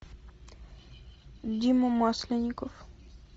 дима масленников